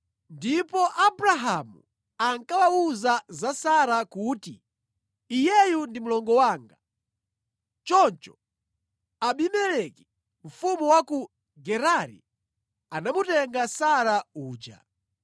ndipo Abrahamu ankawawuza za Sara kuti, “Iyeyu ndi mlongo wanga.” Choncho Abimeleki, mfumu wa ku Gerari anamutenga Sara uja.